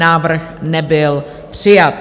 Návrh nebyl přijat.